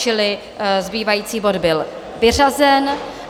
Čili zbývající bod byl vyřazen.